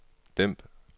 dæmp